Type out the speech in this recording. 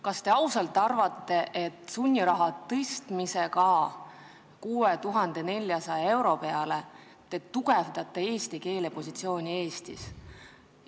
Kas te tõesti arvate, et sunniraha määra tõstmisega 6400 euro peale te tugevdate eesti keele positsiooni Eestis?